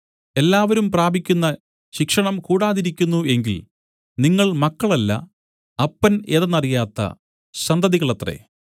എല്ലാവരും പ്രാപിക്കുന്ന ശിക്ഷണം കൂടാതിരിക്കുന്നു എങ്കിൽ നിങ്ങൾ മക്കളല്ല അപ്പൻ ഏതെന്നറിയാത്ത സന്തതികളത്രേ